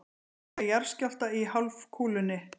Engan jarðskjálfta í hálfkúlunni.